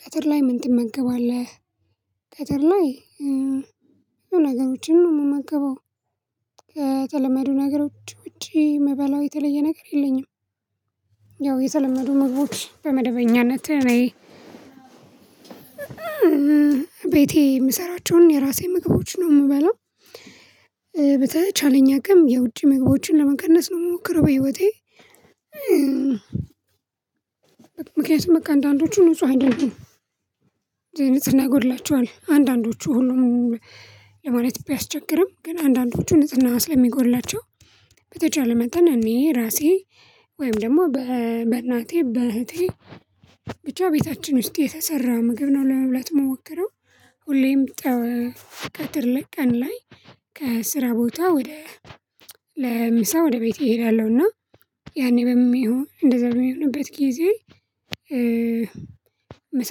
ቀትር ላይ ምን ትመገባለህ? ቀትር ላይ ነገሮችን ነው የምመገበው ከተለመዱ ነገሮች ውጪ የምበላው የተለየ ነገር የለኝም። ያው የተለመዱ ምግቦች በመደበኛነት እኔ የምሰራቸውን የራሴ ምግቦች ነው የምበለው። በተቻለኝ አቅም የውጪ ምግቦችን ለመቀነስ ነው የምሞክረው በህይወቴ። ምክንያቱም በቃ አንዳንዶቹ ንጹህ አይደሉም። የንጽህና ይጎድላቸዋል አንዳንዶቹ ሁሉም ለማለት ቢያስቸግርም ግን አንዳንዶቹን ንጽህና ስለሚጎድላቸው። በተቻለ መጠን እኔ ራሴ ወይም ደግሞ በእናቴ በእህቴ ብቻ ቤታችን ውስጥ የተሰራ ምግብ ነው ለመብላት የምሞክረው። ሁሌም ጠዋ ቀትር ላይ ቀን ላይ ከስራ ቦታ ወደ ለምሳ ወደ እሄዳለሁ እና ያኔ በምን ይሁን እንደዛ በምንሆንበት ጊዜ። ምሳ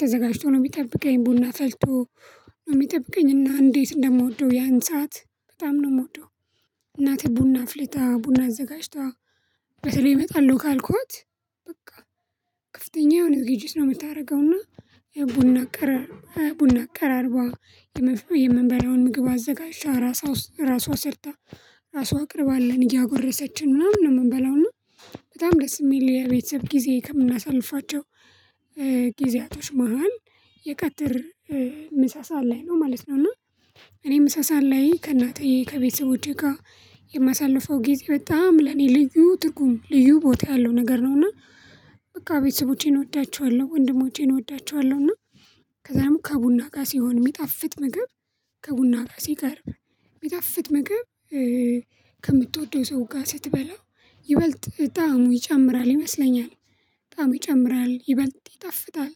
ተዘጋጅቶ ነው የሚጠብቀኝ ቡና ፈልቶ ነው የሚጠብቀኝ እና እንዴት እንደምወደው ያን ሰዓት በጣም ነው የምወደው። እናቴ ቡና አፍልታ ቡና አዘጋጅታ በተለይ መጣለሁ ካልኳት በቃ ክፍተኛ የሆነ ዝግጅት ነው የምታደርገውና። የቡና ቀረ ቡና አቀራርቧ የምንበላውን ምግብ አዘጋጅታ ራሷ ራሷ ሰርታ ራሷ አቅርባልን እያጎረሰችን ምናምን ነው የምንበለው እና በጣም ደስ የሚል የቤተሰብ ጊዜ ከምናሳልፋቸው። ጊዜያቶች መሃል የቀትር ምሳ ሰዓት ላይ ነው ማለት ነው። እና እኔ ምሳ ሰዓት ላይ ከእናቴ ከቤተሰቦቼ ጋር የማሳልፈው ጊዜ በጣም ለኔ ልዩ ትርጉም ልዩ ቦታ ያለው ነገር ነውና። በቃ ቤተሰቦቼን እወዳቸዋለሁ ወንድሞቼን እወዳቸዋለሁ እና ከዛ ደግሞ ከቡና ጋር ሲሆን የሚጣፍጥ ምግብ። ከቡና ጋ ሲቀርብ የሚጣፍጥ ምግብ ከምትወደው ሰው ጋር ስትበላው ይበልጥ ጣዕሙ ይጨምራል ይመስለኛል። ጣዕሙ ይጨምራል ይበልጥ ይጣፍጣል።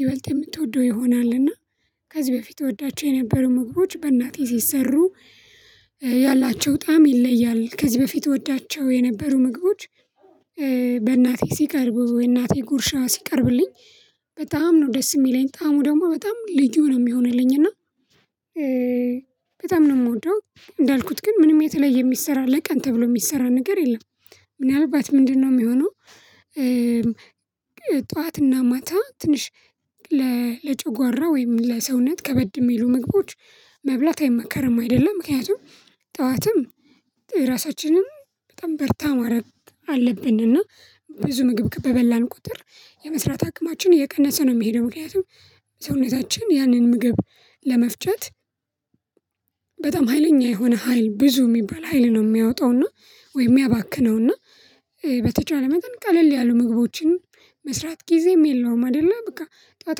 ይበልጥ የምትወደው ይሆናል እና ከዚህ በፊት እወዳቸው የነበሩ ምክሮች በእናቴ ሲሰሩ ያላቸው ጣዕም ይለያል ከዚህ በፊት እወዳቸው የነበሩ ምግቦች። በእናቴ ሲቀርቡ ወይ እናቴ ጉርሻ ሲቀርብልኝ በጣም ነው ደስ የሚለኝ ጣዕሙ ደግሞ በጣም ልዩ ነው የሚሆንልኝ እና። በጣም ነው የምወደው እንዳልኩት ግን ምንም የተለየ የሚሰራ ለቀን ተብሎ የሚሰራ ነገር የለም። ምናልባት ምንድነው የሚሆነው? ጠዋትና ማታ ትንሽ ለጨጓራ ወይም ለሰውነት ከበድ የሚሉ ምግቦች መብላት አይመከርም አይደለም ምክንያቱም። ጠዋትም ራሳችንንም በጣም በርታ ማረብ አለብንና ብዙ ምግብ ከበበላን ቁጥር የመስራት አቅማችን እየቀነሰ ነው የሚሄደው ምክንያቱም ሰውነታችን ያንን ምግብ ለመፍጨት። በጣም ሀይለኛ የሆነ ሀይል ብዙ የሚባል ሀይል ነው የሚያወጣውና ወይም ሚያባክነውና። በተቻለ መጠን ቀለል ያሉ ምግቦችን መስራት ጊዜም የለውም። አይደለ በቃ ጠዋት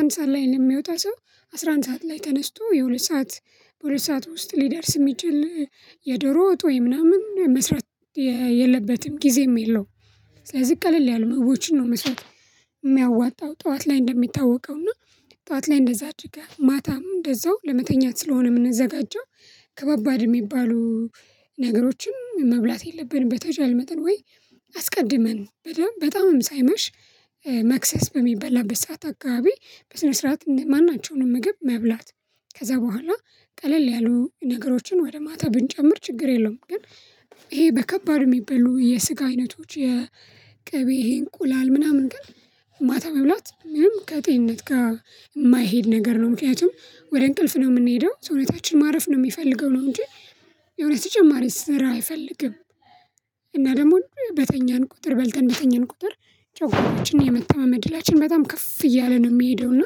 አንድ ሰዓት ላይ ለሚወጣ ሰው አስራ አንድ ሰዓት ላይ ተነስቶ የሁለት ሰዓት በሁለት ሰዓት ውስጥ ሊደርስ የሚችል የዶሮ ወጥ ወይ ምናምን መስራት የለበትም ጊዜም የለውም ስለዚህ ቀለል ያሉ ምግቦችን ነው መስራት። የሚያዋጣው ጠዋት ላይ እንደሚታወቀው እና ጠዋት ላይ እንደዛ አድርገህ ማታም እንደዛው ለመተኛት ስለሆነ የምንዘጋጀው። ከባባድ የሚባሉ ነገሮችን መብላት የለብንም በተቻለ መጠን ወይ አስቀድመን በጣም በጣምም ሳይመሽ መክሰስ በሚበላበት ሰዓት አካባቢ በስነ ስርዓት ማን ናቸውን ምግብ መብላት። ከዛ በኋላ ቀለል ያሉ ነገሮችን ወደ ማታ ብንጨምር ችግር የለውም። ግን ይሄ በከባድ የሚበሉ የስጋ አይነቶች የቅቤ ይሄ እንቁላል ምናምን ግን ማታ መብላት ከጤነት ጋር የማይሄድ ነገር ነው። ምክንያቱም ወደ እንቅልፍ ነው የምንሄደው ሰውነታችን ማረፍ ነው የሚፈልገው ነው እንጂ የሆነ ተጨማሪ ስራ አይፈልግም። እና ደግሞ በተኛን ቁጥር በልተን በተኛን ቁጥር ጨጉዋራችንን የመተማመን ዕድላችን በጣም ከፍ እያለ ነው የሚሄደው እና።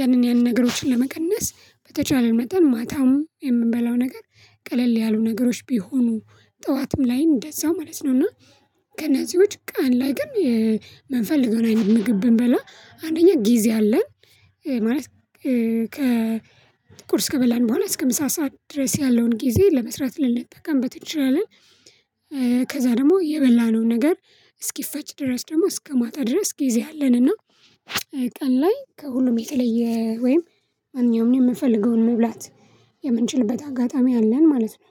ያንን ያንን ነገሮችን ለመቀነስ በተቻለ መጠን ማታም የምንበላው ነገር ቀለል ያሉ ነገሮች ቢሆኑ ጠዋትም ላይ እንደዛው ማለት ነው። እና ከነዚህ ውጪ ቀን ላይ ግን የምንፈልገውን አይነት ምግብ ብንበላ አንደኛ ጊዜ አለን። ማለት ከ ቁርስ ከበላን በኋላ እስከ ምሳ ሰዓት ድረስ ያለውን ጊዜ ለመስራት ልንጠቀምበት እንችላለን። ከዛ ደግሞ የበላነውን ነገር እስኪፈጭ ድረስ ደግሞ እስከ ማታ ድረስ ጊዜ አለንና። ቀን ላይ ከሁሉም የተለየ ወይም ማንኛውም የምፈልገውን መብላት የምንችልበት አጋጣሚ አለን ማለት ነው